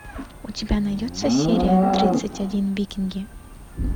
у тебя найдется серия тридцать один викинги